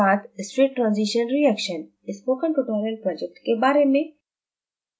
spoken tutorial project के बारे में